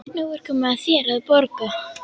Nú er komið að þér að borga.